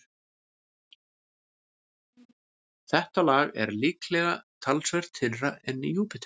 Þetta lag er líklega talsvert þynnra en í Júpíter.